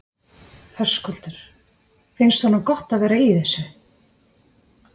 Höskuldur: Finnst honum gott að vera í þessu?